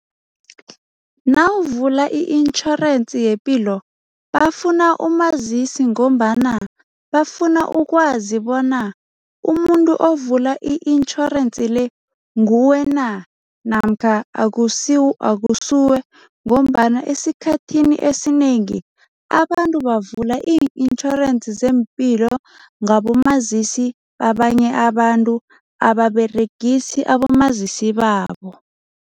Nawuvula i-intjhorensi yepilo, bafuna umazisi ngombana bafuna ukwazi bona umuntu ovula i-insurance le, nguwe na namkha akusuwe ngombana esikhathini esinengi abantu bavula i-insurance zeempilo ngabomazisi babanye abantu, ababeregisa abomazisi babo.